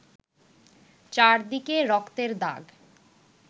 চারদিকে রক্তের দাগ